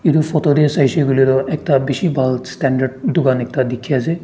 etu photo teh saise koile toh ekta bishi bhaal standard dukaan dekhi ase.